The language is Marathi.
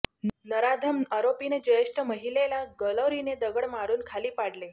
नराधम आरोपीने ज्येष्ठ महिलेला गलोरीने दगड मारून खाली पाडले